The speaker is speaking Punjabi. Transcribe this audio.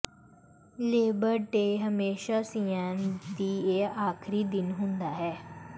ਲੇਬਰ ਡੇ ਹਮੇਸ਼ਾ ਸੀਐਨ ਈ ਦੇ ਆਖਰੀ ਦਿਨ ਹੁੰਦਾ ਹੈ